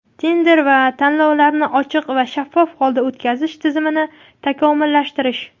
tender va tanlovlarni ochiq va shaffof holda o‘tkazish tizimini takomillashtirish;.